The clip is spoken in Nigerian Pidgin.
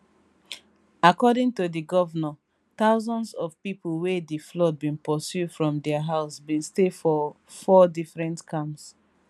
according to di govnor thousands of pipo wey di flood bin pursue from dia house bin stay for four different camps